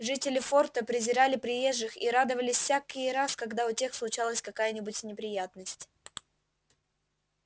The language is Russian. жители форта презирали приезжих и радовались всякий раз когда у тех случалась какая нибудь неприятность